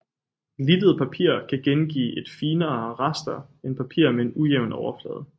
Glittet papir kan gengive et finere raster end papir med en ujævn overflade